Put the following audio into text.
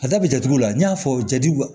A da bɛ jatigiw la n y'a fɔ jati